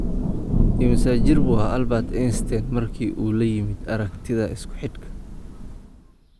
Immisa jir buu ahaa Albert Einstein markii uu la yimid aragtida isku-xidhka?